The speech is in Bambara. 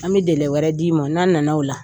An bɛ dɛlɛ wɛrɛ d'i ma n'an na na o la.